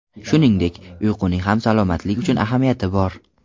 Shuningdek, uyquning ham salomatlik uchun ahamiyati bor.